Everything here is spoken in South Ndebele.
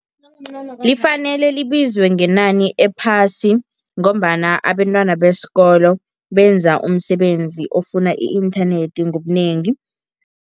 Lifanele libizwe ngenani ephasi ngombana abentwana besikolo benza umsebenzi ofuna i-inthanethi ngobunengi.